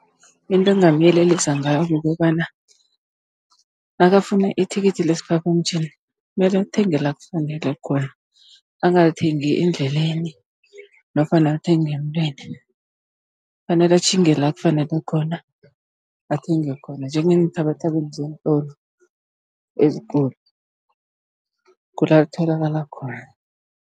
Into engingamyelelisa ngayo kukobana, nakafuna ithikithi lesiphaphamtjhini mele athenge la kufanele khona, angalithengi endleleni nofana alithenge emntwini. Kufanele atjhinge la kufanele khona, athenge khona njengeenthabathabeni zeentolo ezikulu, kula litholakala khona.